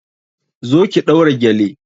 Zo ki ɗaura gele!